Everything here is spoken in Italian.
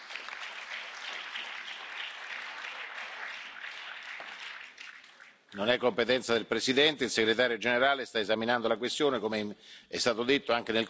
Non è competenza del Presidente, il Segretario generale sta esaminando la questione, come è stato detto anche nel corso dell'ultima Conferenza dei presidenti, che verranno informati non appena verrà presa la decisione.